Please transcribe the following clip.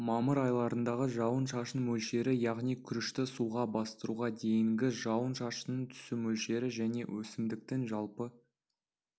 мамыр айларындағы жауын-шашын мөлшері яғни күрішті суға бастыруға дейінгі жауын-шашынның түсу мөлшері және өсімдіктің жалпы